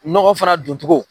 Nɔgɔ fana don cogo